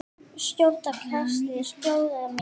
Skjótt á katli sjóða fer.